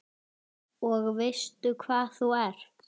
Og veistu hvað þú ert?